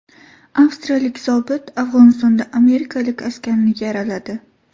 Avstriyalik zobit Afg‘onistonda amerikalik askarni yaraladi.